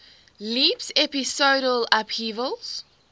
leaps episodal upheavals